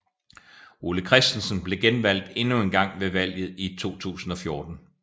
Ole Christensen blev genvalgt endnu engang ved valget i 2014